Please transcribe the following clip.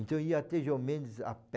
Então, ia até João Mendes a pé.